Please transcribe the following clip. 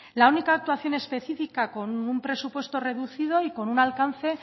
la única actuación específica con un presupuesto reducido y con un alcance